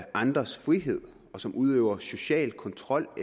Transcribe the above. andres frihed og som udøver social kontrol og